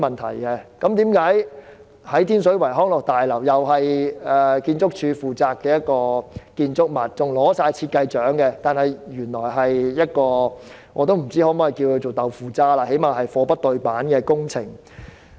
天水圍康樂大樓是建築署負責的建築物，更奪得設計獎，但原來是一項"豆腐渣"工程，我不知可否這樣說，但這最低限度是"貨不對辦"的工程。